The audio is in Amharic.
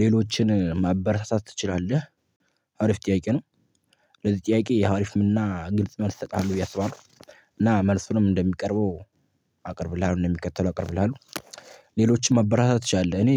ሌሎችን ማበረታታት ትችላለህ አሪፍ ጥያቄ ነው። ለዚህ ጥያቄ አሪፍ እና ግልጽ መልስ እሰጣለሁ ብዬ አስባለው። እና መልሱንም እንደሚቀርበው አቅርብልሃል እንደሚከተለው አቅርብልሃለው። ሌሎችን ማበረታታት ትችላለህ እኔ